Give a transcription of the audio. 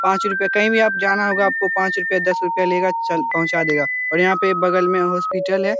पांच रुपया कहीं भी आप जाना होगा आपको पांच रुपया दस रुपया लेगा चल पंहुचा देगा और यहाँ पे बगल में हॉस्पिटल है।